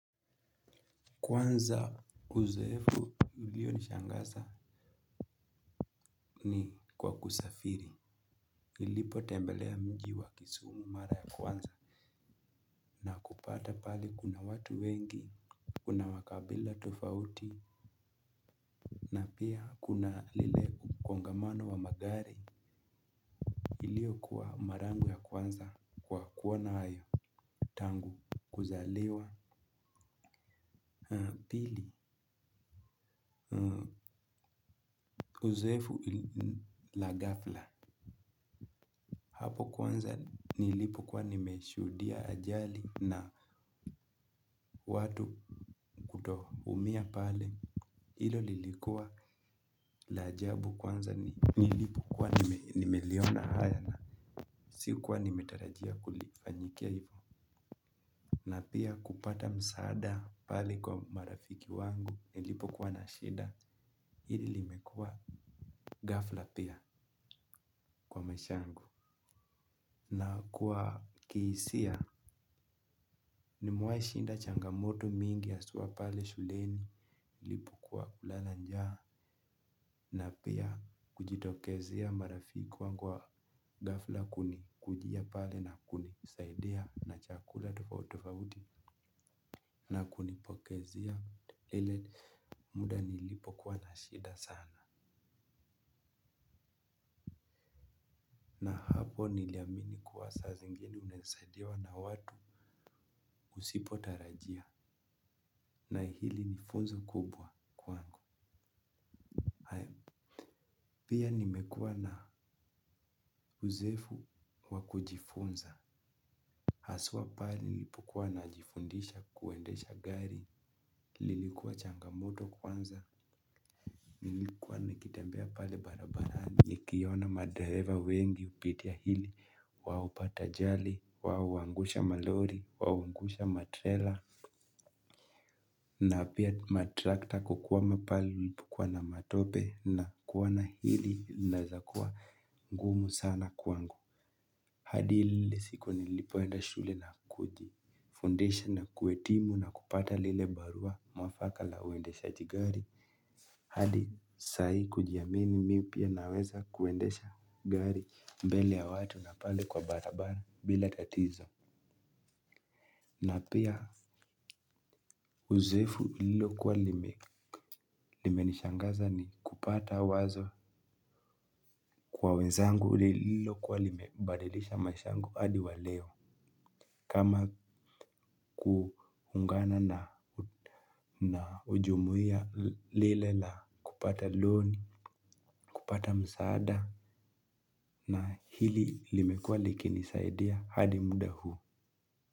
Kwanza uzoefu ulio nishangaza ni kwa kusafiri nilipo tembelea mji wa kisumu mara ya kwanza. Na kupata pahali kuna watu wengi. Kuna wakabila tofauti. Na pia kuna lile mkongamano wa magari ilio kuwa mara yangu ya kwanza kwa kuona hayo. Tangu kuzaliwa pili. Uzoefu la ghafla. Hapo kwanza nilipokwa nimeshuhudia ajali na watu kutoumia pale ilo lilikuwa la ajabu kwanza nilipokua nimeliona haya. Sikuwa nimetarajia kulifanyikia. Na pia kupata msaada pale kwa marafiki wangu. Nilipokua na shida ili limekua ghafla pia kwa maishangu. Na kuwa kiisia nimewai shinda changamoto mingi haswa pale shuleni nilipokua na njaa napia kujitokezea marafiki wangu wa ghafla kunikujia pale na kunisaidia na chakula tofautofauti na kunipokezia ile muda nilipo kuwa na shida sana. Hapo niliamini kuwa saa zingine unaeza saidiwa na watu usipotarajia na hili ni funzo kubwa kwangu. Pia nimekuwa na uzoefu wakujifunza hasua pahali nilipokua najifundisha kuendesha gari lilikuwa changamoto kwanza nilikuwa nikitembea pale barabarani. Nikiona madereva wengi upitia hili, wao hupata ajali, wao huangusha malori, wao huwangusha matrela, na pia matrakta kukuwama pali nilipokuwa na matope na kuona hili inaeza kuwa ngumu sana kuangu. Hadi ile siku nilipoenda shule na kujifundisha na kuetimu na kupata lile barua mwafaka la uendeshaji gari. Hadi sai kujiamini mi pia naweza kuendesha gari mbele ya watu na pale kwa barabara bila tatizo. Na pia uzoefu lililo kuwa limenishangaza ni kupata wazo kwa wenzangu lililo kuwa limebadilisha maisha yangu hadi waleo. Kama kuungana na ujumuia lile na kupata loni, kupata msaada na hili limekua liki nisaidia hadi muda huu.